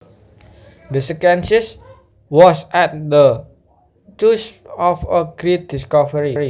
The scientist was at the cusp of a great discovery